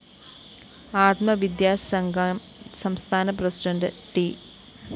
ആത്മവിദ്യാ സംഘം സംസ്ഥാന പ്രസിഡണ്ട് ട്‌